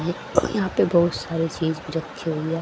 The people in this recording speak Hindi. यहां पे बहोत सारी चिप्स रखी हुई है।